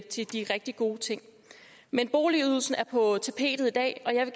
til de rigtig gode ting men boligydelsen er på tapetet i dag og jeg